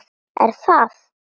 Er það?